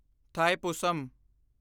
Thaipusam